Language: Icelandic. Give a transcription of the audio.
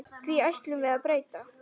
Því ætlum við að breyta.